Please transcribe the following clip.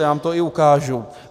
Já vám to i ukážu.